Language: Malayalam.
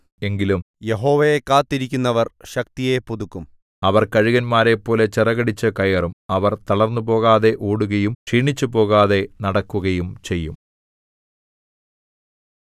എങ്കിലും യഹോവയെ കാത്തിരിക്കുന്നവർ ശക്തിയെ പുതുക്കും അവർ കഴുകന്മാരെപ്പോലെ ചിറകടിച്ചു കയറും അവർ തളർന്നുപോകാതെ ഓടുകയും ക്ഷീണിച്ചുപോകാതെ നടക്കുകയും ചെയ്യും